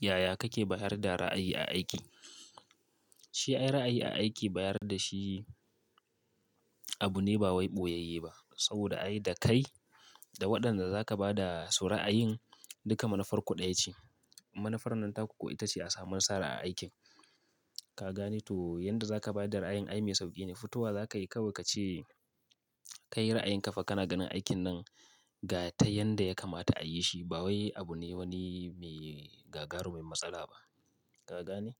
Yaya kake bayar da ra'ayi a aiki? Shi ai ra'ayi a aiki bayar da shi abu ne ba wai ɓoyayye ba saboda ai da kai da waɗanda za ka ba da su ra'ayin duka manufar ku ɗaya ce. Manufar nan ta kuwa ita ce a samu nasara a aikin. Ka gane? To yanda za ka ba da ra'ayin ai mai sauƙi ne. Fitowa za ka yi kawai ka ce kai ra'ayin ka fa kana ganin aikin nan ga ta yanda ya kamata a yi shi ba wai abu ne wani mai gagarumin matsala ba. Ka gane?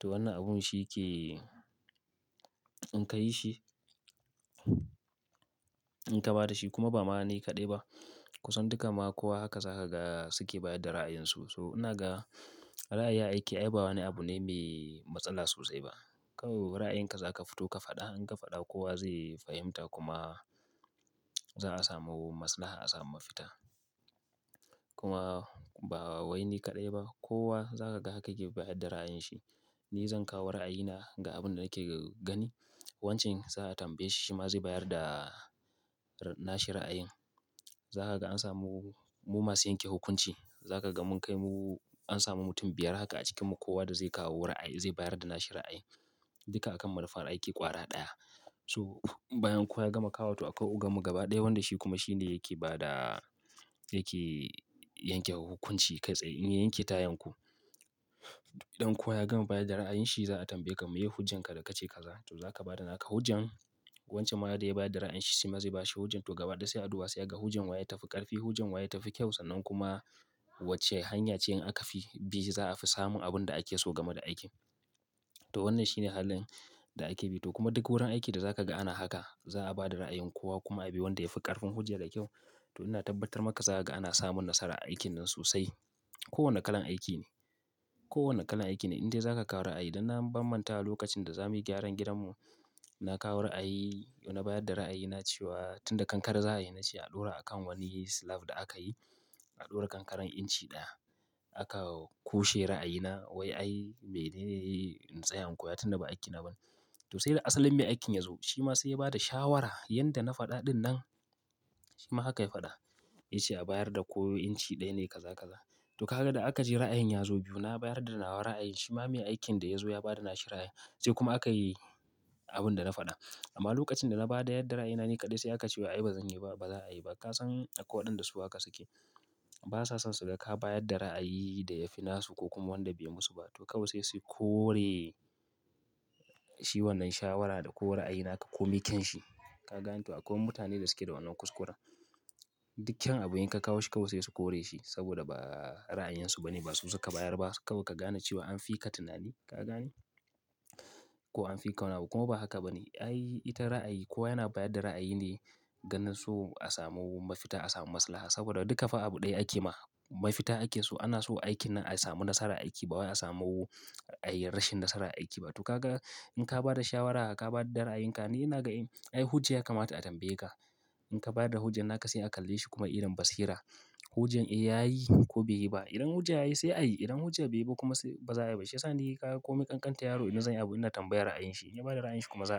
To wannan abun shi ke in ka yi shi, in ka ba da shi kuma ba ma ni kaɗai ba. Ku san duka ma kowa haka za ka ga su ke bayadda da ra'ayinsu. So ina ga ra'ayi a aiki ai ba wani abu ne mai matsala sosai ba. Kawai ra'ayinka za ka fito ka faɗa. In ka fada kowa zai fahimta kuma za a sama maslaha a samu mafita kuma ba wai ni kaɗai ba kowa za ka ga haka yake bayar da ra'ayin shi. Ni zan kawo ra'ayina ga abin da nake gani wancan za a tambaye shi, shi ma zai bayar da nashi ra'ayin. Za ka ga an samu mu masu yanke hukunci. Za ka ga mun kai mu an samu mutum biyar haka a cikinmu kowa da zai kawo ra'ayi zai bayar da nashi ra'ayi duka a kan manufar aiki ƙwara ɗaya. Toh bayan kowa ya gama kawawa to akwai ogammu gaba ɗaya wanda shi kuma shi ne yake ba da, yake yanke hukunci kai tsaye in yai yanke ta yanku. Idan kowa ya gama bayar da ra'ayin shi za a tambaye ka me ye hujjan ka da ka ce ka za toh. To za ka ba da naka hujjan, wancan ma da ya bayar da ra'ayin shi sai ma zai bashi hujjan to gabaɗaya aduwa sai ka ga hujjan wa ya tafi ƙarfi, hujjan wa ya tafi kyau sannan kuma wacce hanya ce in aka fi bi za a fi samun abin da ake so game da aikin. Toh wannan shi ne halin da ake bi. Toh kuma duk wurin aiki da za ka ga ana haka. Za a ba da ra'ayin kowa kuma a bi wanda ya fi ƙarfin hujja da kyau. Toh ina tabbatar maka za ka ga ana samun nasara a aikinnan sosai ko wanne kalan aiki ne, ko wanne kalan aiki ne in dai za ka kawo ra'ayi. Dan na bambanta lokacin da za muyi gyaran gidanmu. Na kawo ra'ayi, toh na bayar da ra'ayina cewa tun da kankare za a yi na ce a ɗora a kan wani slab da aka yi. A ɗora kankaran inci ɗaya. Aka kushe ra'ayina wai ai bai dai yi intsaya in kowa tun da ba aikina ba. To sai da asalin mai aikin ya zo shi ma sai ya ba da shawara yanda na faɗa ɗin nan shi ma haka ya faɗa. Ya ce a bayar da ko inci ɗaya ne kaza kaza. To ka ga da aka je ra'ayin ya zo biyu. Na bayar da nawa ra'ayi shi ma mai aikin da ya zo ya ba da nashi ra'ayin. Sai kuma aka yi abin da na faɗa. Amma lokacin da na bada yadda ra'yina ni kadai sai akace wai ai bazan yiba ai baza ayiba kasan akwai wadan su su haka suke basa son suga ka bayad da ra'ayi da ya fi nasu ko kuma wanda bai musu ba. To kawai sai su kore shi wannan shawara da ko ra'ayin naka komi kyan shi. Ka gane? To akwai mutane da suke da wannan kuskura. Duk kyan abun in ka kawo shi kawai sai su kore shi saboda ba ra'ayinsu ba ne, ba su su ka bayar ba. Kawai ka gane cewa an fi ka tunani. Ka gane? Ko an fi ka wani abu kuma ba haka ba ne. Ai ita ra'ayi kowa yana bayar da ra'ayi ne ganin su a samu mafita, a samu maslaha saboda duka fa abu ɗaya ake ma mafita ake so. Ana so aikin nan a samu nasarar aiki ba wai a samu ayi rashin nasarar aiki ba. Toh ka ga in ka ba da shawara, ka ba da ra'ayinka ni ina ga ni hujja ya kamata a tambaye ka. In ka ba da hujjan naka sai a kalle shi kuma idon basira. Hujjan in ya yi ko bai yi ba. Idan hujja yayi sai a yi, idan hujja bai yi ba kuma sai baza a yi ba. Shi ya sa ni komin kankantan yaro ina zan yi abu ina tambayar ra'ayin shi. In ya ba da ra'ayin shi kuma za ayi.